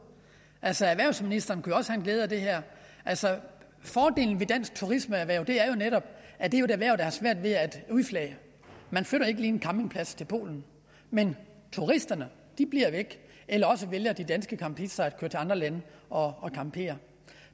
altså erhvervsministeren kunne jo også have glæde af det her fordelen ved dansk turismeerhverv er jo netop at det er et erhverv der har svært ved at udflage man flytter ikke lige en campingplads til polen men turisterne bliver væk eller også vælger de danske campister at andre lande og campere